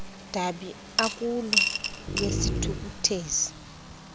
dabi akulo lwesithukuthezi